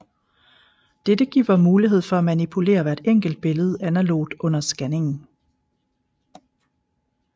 Dette giver mulighed for at manipulere hvert enkelt billede analogt under scanningen